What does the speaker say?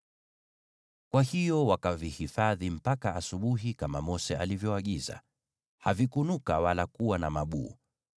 Kwa hiyo wakavihifadhi mpaka asubuhi, kama Mose alivyoagiza, na havikunuka wala kuwa na mabuu.